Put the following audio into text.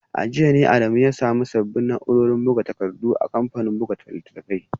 A jiya ne Adamu ya samu sabbin na’urorin buga takardu na kamfanin buga littattafai